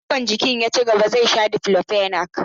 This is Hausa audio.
Idan ciwon jikin ya cigaba zai sha Diclofenac.